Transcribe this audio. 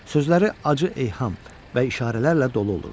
Sözləri acı eyham və işarələrlə dolu olurdu.